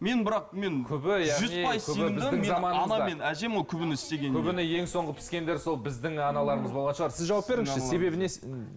мен бірақ мен күбіні ең соңғы піскендер сол біздің аналармыз болған шығар сіз жауап беріңізші себебі не